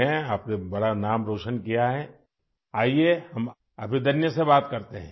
تم نے بڑا نام روشن کیا ہے، ابھی ہم ابھیدنیا سے بات کرتے ہیں